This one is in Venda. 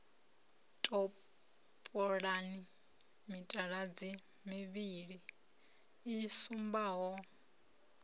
topolani mitaladzi mivhili i sumbaho